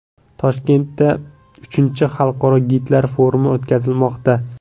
Toshkentda III xalqaro gidlar forumi o‘tkazilmoqda.